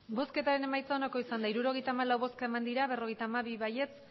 emandako botoak hirurogeita hamalau bai berrogeita hamabi ez